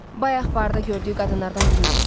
Bayaq barda gördüyü qadınlardan biri idi.